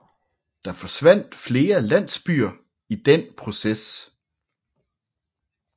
Der forsvandt flere landsbyer i den proces